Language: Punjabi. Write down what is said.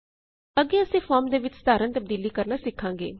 ਅਗੇ ਅਸੀਂ ਫੋਰਮ ਦੇ ਵਿੱਚ ਸਾਧਾਰਣ ਤਬਦੀਲੀ ਕਰਨਾ ਸਿਖਾਂਗੇ